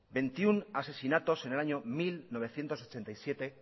veintiuno asesinatos en el año mil novecientos ochenta y siete